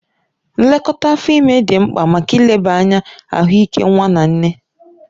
Nlekọta afọ ime dị mkpa maka ileba anya ahụike nwa na nne